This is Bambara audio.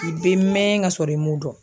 I bɛ mɛn ka sɔrɔ i m'o dɔn.